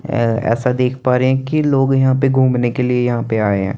एय ऐसा देख पा रहे हे की लोग यहा पे गुमने के लिए यहा पे आय हैं।